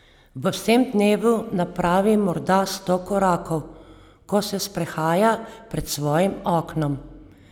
V vsem dnevu napravi morda sto korakov, ko se sprehaja pred svojim oknom.